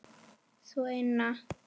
Sú eina!